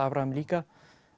Abraham líka